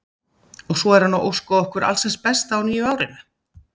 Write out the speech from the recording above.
Og svo er hann að óska okkur alls hins besta á nýja árinu.